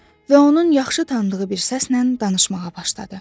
Və onun yaxşı tanıdığı bir səslə danışmağa başladı.